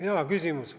Hea küsimus.